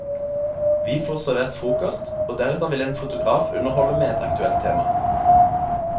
Vi får servert frokost, og deretter vil en fotograf underholde med et aktuelt tema.